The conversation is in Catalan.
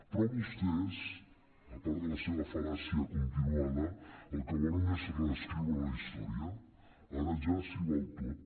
però vostès a part de la seva fal·làcia continuada el que volen és reescriure la història ara ja s’hi val tot